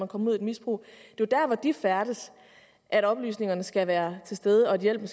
kommer ud i et misbrug det er der hvor de færdes at oplysningerne skal være til stede og hjælpen